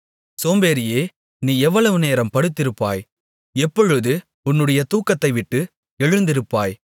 சோம்பேறியே நீ எவ்வளவு நேரம் படுத்திருப்பாய் எப்பொழுது உன்னுடைய தூக்கத்தைவிட்டு எழுந்திருப்பாய்